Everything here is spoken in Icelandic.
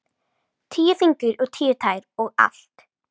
Tíu fingur og tíu tær og allt.